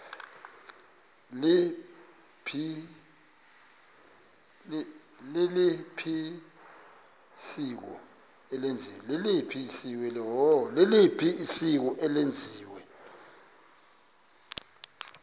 liliphi isiko eselenziwe